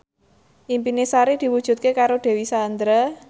impine Sari diwujudke karo Dewi Sandra